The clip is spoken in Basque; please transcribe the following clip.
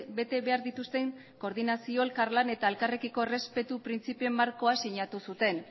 bete behar dituzten koordinazio elkarlan eta elkarrekiko errespetu printzipioen markoa sinatu zuten